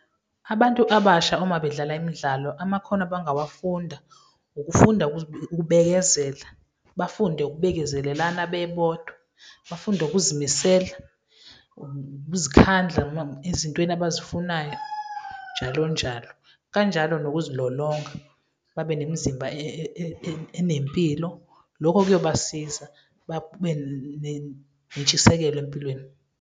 Abantu abasha uma bedlala imidlalo, amakhono abangawafunda, ukufunda ukubekezela, bafunde ukubekezelelana bebodwa, bafunde ukuzimisela, ukuzikhandla noma ezintweni abazifunayo njalo njalo, kanjalo nokuzilolonga, babe nemzimba enempilo, lokho kuyobasiza babe nentshisekelo empilweni.